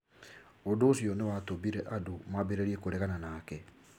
Ũndũ ũcio nĩ watũmire andũ mambĩrĩrie kũregana nake.